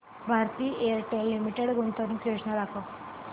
Bharti Airtel limited गुंतवणूक योजना दाखव